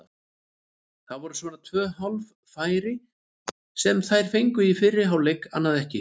Það voru svona tvö hálffæri sem þær fengu í fyrri hálfleik, annað ekki.